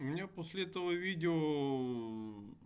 у меня после этого видео